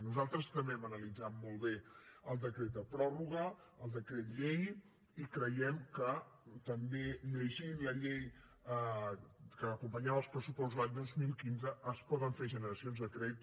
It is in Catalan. nosaltres també hem analitzat molt bé el decret de pròrroga el decret llei i creiem que també llegint la llei que acompanyava els pressupostos l’any dos mil quinze es poden fer generacions de crèdit